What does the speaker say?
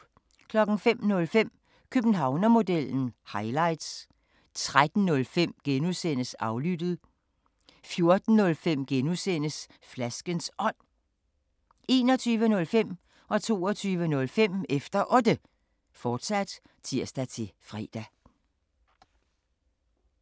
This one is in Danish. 05:05: Københavnermodellen – highlights 13:05: Aflyttet (G) 14:05: Flaskens Ånd (G) 21:05: Efter Otte, fortsat (tir-fre) 22:05: Efter Otte, fortsat (tir-fre)